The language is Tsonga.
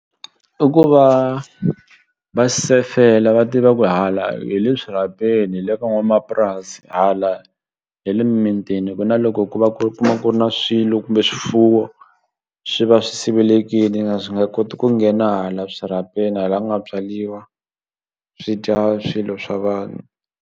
I ku va va sefela va tiva ku hala hi le swirhapeni hi le ka n'wanamapurasi hala hi le mimitini ku na loko ku va ku kuma ku ri na swilo kumbe swifuwo swi va swi sivelekini swi nga koti ku nghena hala swirhapeni hala ku nga byariwa swi dya swilo swa vanhu.